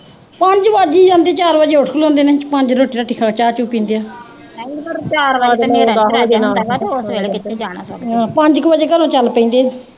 ਪੰਜ ਕੁ ਵਜੇ ਘਰੋਂ ਚਲ ਪੈਂਦੇ।